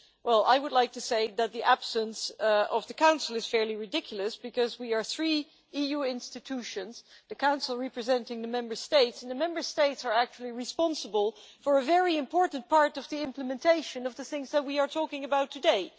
Well, I would like to say that the absence of the Council is fairly ridiculous because we are three EU institutions, the Council representing the Member States and the Member States are responsible for a very important part of the implementation of the things that we are talking about today.